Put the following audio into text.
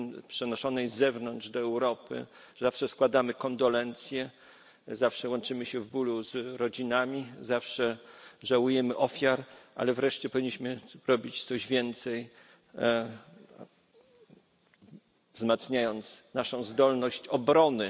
przenoszonej z zewnątrz do Europy, składamy kondolencje, łączymy się w bólu z rodzinami, żałujemy ofiar, ale wreszcie powinniśmy robić coś więcej, wzmacniając naszą zdolność obrony.